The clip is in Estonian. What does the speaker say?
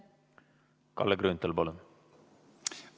Kalle Grünthal, palun!